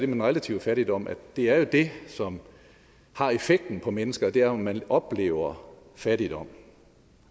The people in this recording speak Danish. den relative fattigdom det er jo det som har effekten på mennesker og det er jo at man oplever fattigdom